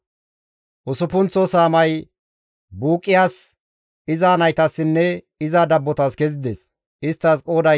Usuppunththo saamay Buuqiyas, iza naytassinne iza dabbotas kezides; isttas qooday 12.